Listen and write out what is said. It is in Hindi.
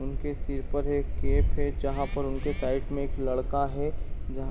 उनके सिर पर एक गेट है। जहाँ पर उनकी साइड में एक लड़का है। जहाँ --